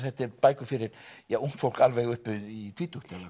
þetta eru bækur fyrir ungt fólk alveg upp í tvítugt